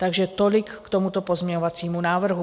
Takže tolik k tomuto pozměňovacímu návrhu.